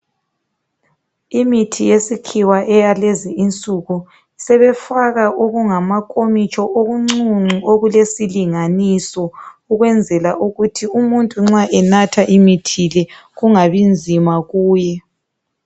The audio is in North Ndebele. Imithi yesikhiwa eyalezi insuku, sebefaka okungamakomitsho okuncuncu okulesilinganiso ukwenzela ukuthi umuntu nxa enatha imithi le, kungabi nzima kuye.